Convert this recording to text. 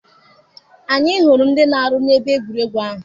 Anyị hụrụ ndị na-arụ na ebe egwuregwu ahụ.